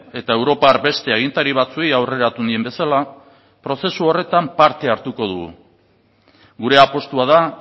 eta europar beste agintari batzuei aurreratu nien bezala prozesu horretan parte hartuko dugu gure apustua da